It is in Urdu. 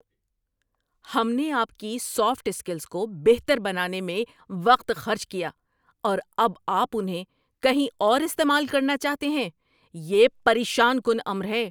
ہم نے آپ کی سافٹ اسکلز کو بہتر بنانے میں وقت خرچ کیا، اور اب آپ انہیں کہیں اور استعمال کرنا چاہتے ہیں؟ یہ پریشان کن امر ہے۔